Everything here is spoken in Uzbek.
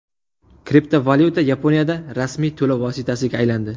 Kriptovalyuta Yaponiyada rasmiy to‘lov vositasiga aylandi.